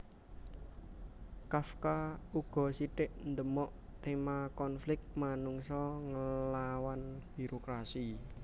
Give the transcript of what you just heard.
Kafka uga sithik ndemok téma konflik manungsa nglawan birokrasi